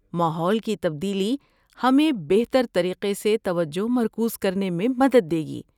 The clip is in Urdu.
ماحول کی تبدیلی ہمیں بہتر طریقے سے توجہ مرکوز کرنے میں مدد دے گی۔